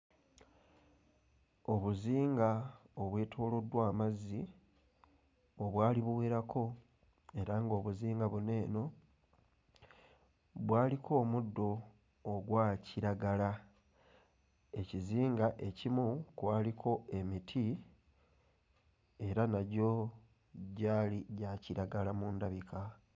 Obuzinga obwetooloddwa amazzi obwali buwerako era ng'obuzinga buno eno bwaliko omuddo ogwa kiragala. Ekizinga ekimu kwaliko emiti era nagyo gyali gyali gya kiragala mu ndabika.